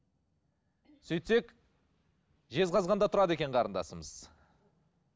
сөйтсек жезқазғанда тұрады екен қарындасымыз